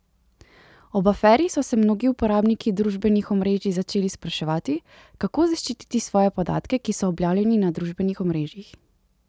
Ob aferi so se mnogi uporabniki družbenih omrežij začeli spraševati, kako zaščititi svoje podatke, ki so objavljeni na družbenih omrežjih?